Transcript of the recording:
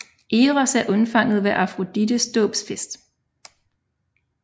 Eros er undfanget ved Afrodites dåbsfest